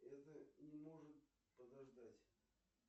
это не может подождать